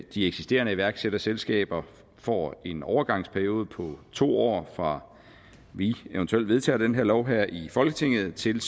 at de eksisterende iværksætterselskaber får en overgangsperiode på to år fra vi eventuelt vedtager den her lov her i folketinget til